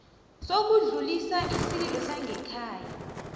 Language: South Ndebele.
sokudlulisa isililo sangekhaya